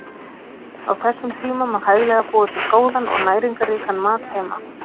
Á þessum tíma má hæglega búa til góðan og næringarríkan mat heima.